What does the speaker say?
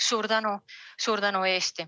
Suur tänu!